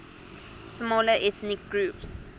smaller ethnic groups